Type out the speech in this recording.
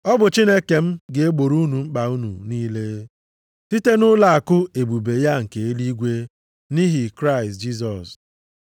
Ọ bụ Chineke m ga-egboro unu mkpa unu niile, site nʼụlọakụ ebube ya nke eluigwe, nʼihi Kraịst Jisọs.